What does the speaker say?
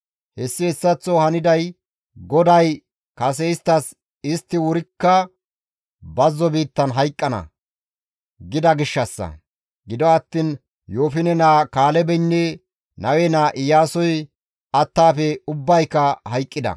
Hessi hessaththo haniday GODAY kase isttas, «Istti wurikka bazzo biittan hayqqana!» gida gishshassa; gido attiin Yoofine naa Kaalebeynne Nawe naa Iyaasoy attaafe ubbayka hayqqida.